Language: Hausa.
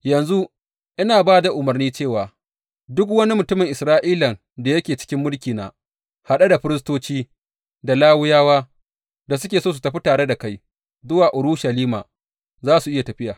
Yanzu ina ba da umarni cewa duk wani mutumin Isra’ilan da yake cikin mulkina, haɗe da firistoci, da Lawiyawa, da suke so su tafi tare da kai zuwa Urushalima za su iya tafiya.